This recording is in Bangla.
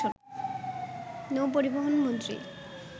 নৌপরিবহন মন্ত্রী